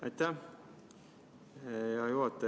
Aitäh, hea juhataja!